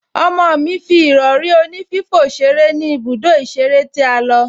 Ọmọ mi fi ìrọ̀rí onífífò ṣeré ní ibùdó ìṣeré tí a lọ